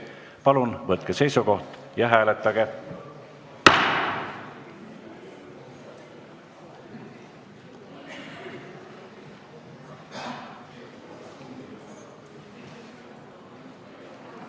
Palun võtke seisukoht ja hääletage!